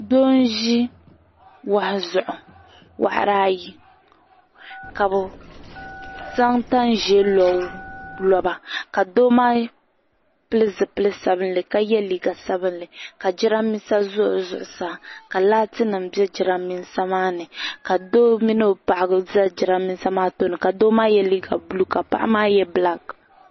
Doo n-ʒi yuri ayi zuɣu ka bɛ zaŋ tan' ʒee n-lo loba ka doo maa pili zipil' sabilinli ka ye liika sabilinli ka jidambiisa za o zuɣusaa ka laatinima be jidambiisa maa ni ka doo mini o paɣa za jidambiisa maa tooni ka doo maa ye liika buluu ka paɣa maa bilaaki.